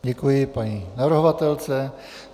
Děkuji paní navrhovatelce.